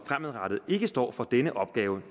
fremadrettet ikke står for denne opgave